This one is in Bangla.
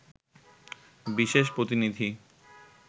বিশেষ প্রতিনিধি